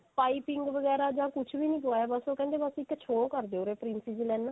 ਪਾਈਪਿੰਨ ਵਗੈਰਾ ਕੁੱਝ ਵੀ ਨਹੀਂ ਲਗਾਇਆ ਉਹ ਕਹਿੰਦੇ ਬਸ ਇੱਕ show ਕਰਦਿਓ princess ਲਾਈਨਾ